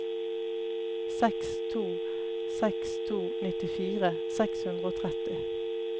seks to seks to nittifire seks hundre og tretti